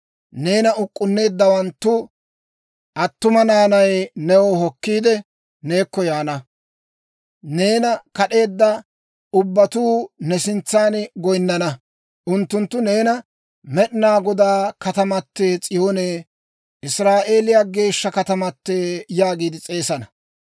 Neena uk'k'unneeddawanttu attuma naanay new hokkiide, neekko yaana; neena kad'eedda ubbatuu ne sintsan goyinnana. Unttunttu neena, ‹Med'inaa Godaa Katamatee S'iyoonee, Israa'eeliyaa Geeshsha Katamatee› yaagiide s'eesana.